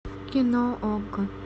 кино окко